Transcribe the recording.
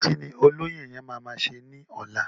Kíni olóyè yẹn ma máa ṣe ni ọlá?